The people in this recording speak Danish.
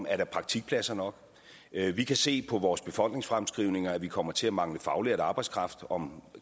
er praktikpladser nok vi kan se på vores befolkningsfremskrivninger at vi kommer til at mangle faglært arbejdskraft om